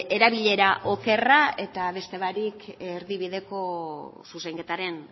erabilera okerra eta beste barik erdibideko zuzenketaren